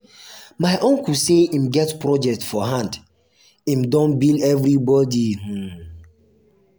my uncle say im get project for hand im don bill everybodi. um